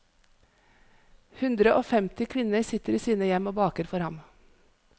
Hundre og femti kvinner sitter i sine hjem og baker for ham.